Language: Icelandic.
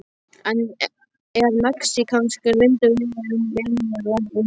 Er mexíkanskur vindur verri en venjulegur vindur?